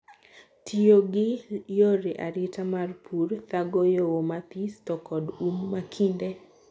Tiyogi gi yore arita mar purr, thago lowo mathis, to kod um makinde.